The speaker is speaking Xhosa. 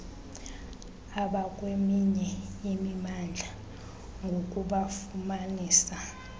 abakweminye imimandla ngokubafumanisa